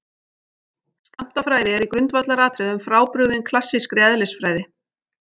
Skammtafræði er í grundvallaratriðum frábrugðin klassískri eðlisfræði.